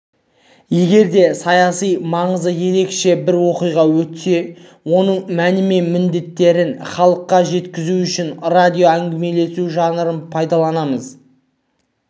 егер де саяси маңызы ерекше бір оқиға өтсе оның мәні мен міндеттерін халыққа жеткізу үшін радиоәңгімелесу жанрын пайдаланамыз